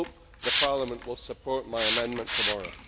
I hope Parliament will support my amendment tomorrow.